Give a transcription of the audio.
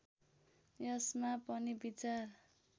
यसमा पनि विचार